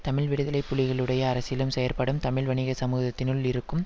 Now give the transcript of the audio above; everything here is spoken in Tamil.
தமிழீழ விடுதலை புலிகளுடைய அரசியலும் செயற்பாடும் தமிழ் வணிக சமூகத்தினுள் இருக்கும்